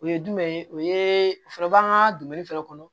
O ye jumɛn ye o ye o fana b'an ka fɛnɛ kɔnɔ